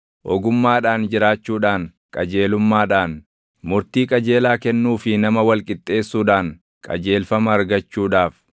ogummaadhaan jiraachuudhaan, qajeelummaadhaan, murtii qajeelaa kennuu fi nama wal qixxeessuudhaan // qajeelfama argachuudhaaf;